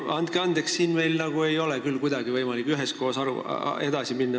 Andke andeks, aga meil ei ole siin küll kuidagi võimalik üheskoos edasi minna.